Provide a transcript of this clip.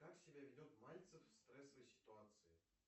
как себя ведет мальцев в стрессовой ситуации